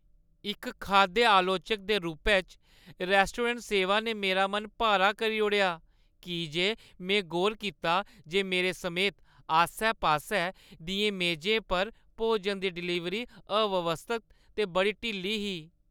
इक खाद्य आलोचक दे रूपै च, रैस्टोरेंट सेवा ने मेरा मन भारा करी ओड़ेआ की जे में गौर कीता जे मेरे समेत आस्सै-पास्सै दियें मेजें पर भोजन दी डिलीवरी अव्यवस्थत ते बड़ी ढिल्ली ही।